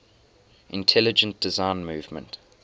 intelligent design movement